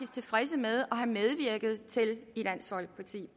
tilfredse med og har medvirket til i dansk folkeparti